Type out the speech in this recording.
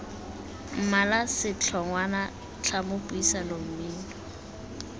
mmala setlhogwana tlhamo puisano mmino